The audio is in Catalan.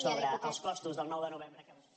sobre els costos del nou de novembre que vostès